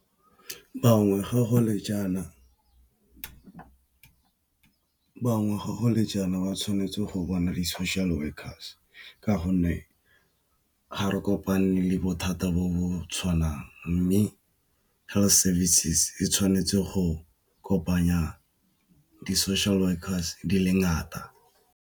Bangwe gago le jaana ba tshwanetse go bona di-social workers ka gonne ga re kopane le bothata bo bo tshwanang mme health services e tshwanetse go kopanya di,-social workers di le ngata.